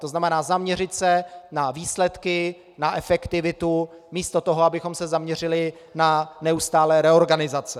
To znamená, zaměřit se na výsledky, na efektivitu místo toho, abychom se zaměřili na neustálé reorganizace.